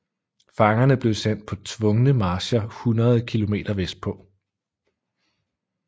Fangerne blev sendt på tvungne marcher hundreder af kilometer vestpå